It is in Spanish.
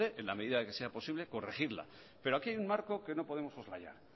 de en la medida que sea posible corregirla pero aquí hay un marco que no podemos